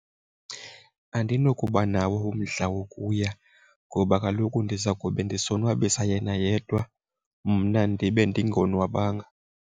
Andinokuba nawo umdla wokuya ngoba kaloku ndiza kube ndisonwabasa yena yedwa, mna ndibe ndingonwabanga.